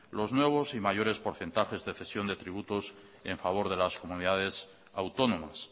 los nuevos y mayores porcentajes de cesión de tributos en favor de las comunidades autónomas